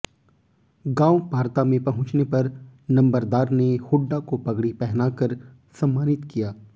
गांव पारता में पहुंचने पर नंबरदार ने हुड्डा को पगड़ी पहनाकर सम्मानित किया